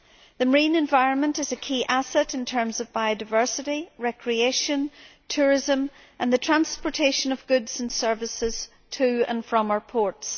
The marine environment is a key asset in terms of biodiversity, recreation, tourism and the transportation of goods and services to and from our ports.